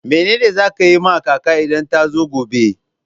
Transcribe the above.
Mene ne za ki yi ma kaka idan ta zo gobe?